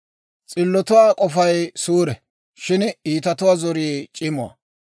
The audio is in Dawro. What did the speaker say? S'illotuwaa k'ofay suure; shin iitatuwaa zorii c'imuwaa.